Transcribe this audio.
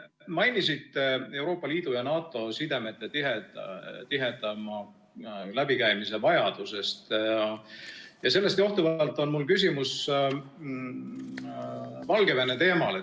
Te mainisite Euroopa Liidu ja NATO sidemete, tihedama läbikäimise vajadust ja sellest johtuvalt on mul küsimus Valgevene teemal.